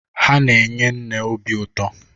Ha na-enye nne obi ụtọ.